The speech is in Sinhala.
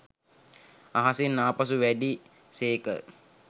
අහසින්ම ආපසු වැඩි සේක